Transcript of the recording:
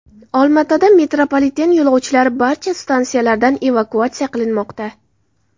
Olmaotada metropoliten yo‘lovchilari barcha stansiyalardan evakuatsiya qilinmoqda.